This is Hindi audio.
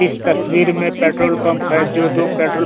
इस तस्वीर में पेट्रोल पंप है जो दो पेट्रोल --